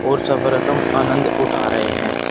और सफर का आनंद उठा रहे हैं।